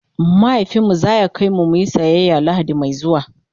mahaifinmu zaya kaimu muyi siyaya lahadi Mai zuwa